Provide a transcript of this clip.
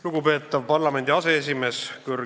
Lugupeetav parlamendi aseesimees!